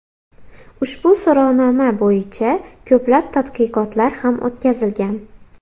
Ushbu so‘rovnoma bo‘yicha ko‘plab tadqiqotlar ham o‘tkazilgan.